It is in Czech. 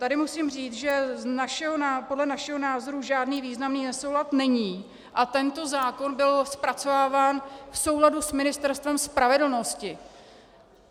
Tady musím říct, že podle našeho názoru žádný významný nesoulad není a tento zákon byl zpracováván v souladu s Ministerstvem spravedlnosti.